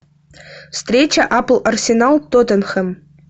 встреча апл арсенал тоттенхэм